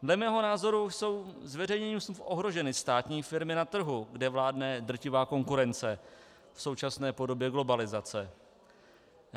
Dle mého názoru jsou zveřejněním smluv ohroženy státní firmy na trhu, kde vládne drtivá konkurence v současné podobě globalizace.